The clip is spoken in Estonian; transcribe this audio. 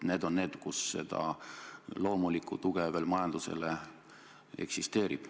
See on sektor, kus seda loomulikku tuge majandusele veel eksisteerib.